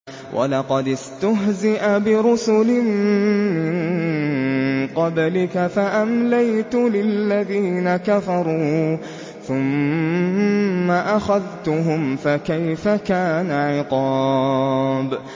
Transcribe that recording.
وَلَقَدِ اسْتُهْزِئَ بِرُسُلٍ مِّن قَبْلِكَ فَأَمْلَيْتُ لِلَّذِينَ كَفَرُوا ثُمَّ أَخَذْتُهُمْ ۖ فَكَيْفَ كَانَ عِقَابِ